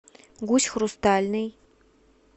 гусь хрустальный